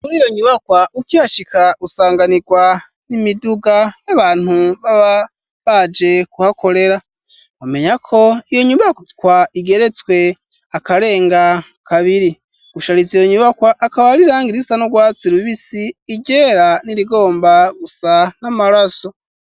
Muri iyo nyubakwa, ukihashika, usanganirwa n'imiduga, y'abantu baba baje, kuhakorera; mwomenya ko, iyo nyubakwa, igeretswe akarenga kabiri; gushariza iyo nyubakwa, akaba ari irangi risa n'urwatsi rubisi, iryera, n'irigomba gusa, n'amaraso.